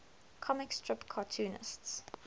comic strip cartoonists